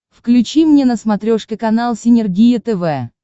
включи мне на смотрешке канал синергия тв